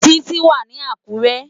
Titi wá ni Akure